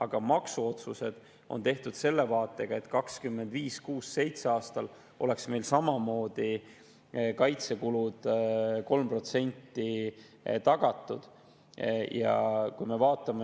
Aga maksuotsused on tehtud selle vaatega, et 2025., 2026., 2027. aastal oleks meil samamoodi kaitsekulud 3% tagatud.